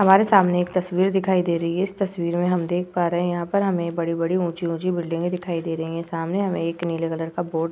हमारे सामने एक तस्वीर दिखाई दे रही है इस तस्वीर में हम देख पा रहे हैं यहाँ पर हमें बड़ी-बड़ी ऊंची-ऊंची बिल्डिंगे दिखाई दे रही है सामने हमें एक नीले कलर का बोर्ड --